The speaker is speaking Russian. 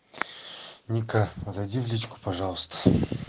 ника зайди в личку пожалуйста